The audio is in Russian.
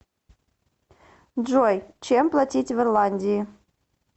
джой чем платить в ирландии